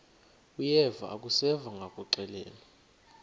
uyeva akuseva ngakuxelelwa